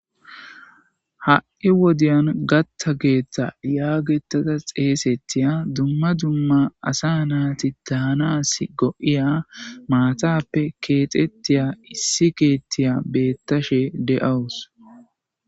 Ha7i wodiyan gatHTHa Keeththa yaagetada xeesetiya dumma dumma asa naati daanas go7iya maatappe keexettiya issi keettiya beettashe de7awus.